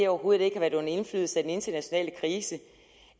overhovedet ikke har været under indflydelse af den internationale krise